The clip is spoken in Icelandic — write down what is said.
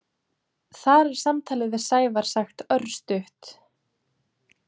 Þar er samtalið við Sævar sagt örstutt.